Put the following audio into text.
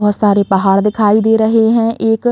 बोहोत सारे पहाड़ दिखाई दे रहे हैं। एक --